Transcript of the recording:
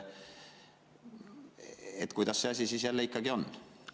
Kuidas see asi siis ikka on?